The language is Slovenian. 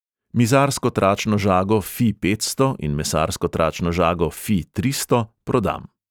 Mizarsko tračno žago fi petsto in mesarsko tračno žago fi tristo prodam.